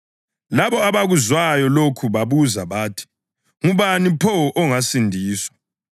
Labo abakuzwayo lokho babuza bathi, “Ngubani pho ongasindiswa?”